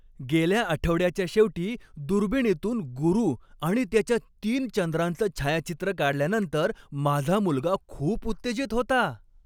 गेल्या आठवड्याच्या शेवटी दुर्बिणीतून गुरू आणि त्याच्या तीन चंद्रांचं छायाचित्र काढल्यानंतर माझा मुलगा खूप उत्तेजित होता.